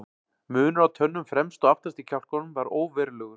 Munur á tönnum fremst og aftast í kjálkunum var óverulegur.